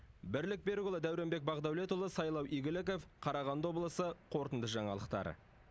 бірлік берікұлы дәуренбек бақдәулетұлы сайлау игіліков қарағанды облысы қорытынды жаңалықтар